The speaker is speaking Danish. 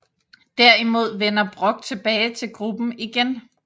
Derimod vender Brock tilbage til gruppen igen